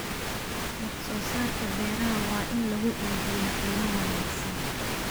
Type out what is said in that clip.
Wax soo saarka beeraha waa in lagu iibiyaa qiimo wanaagsan.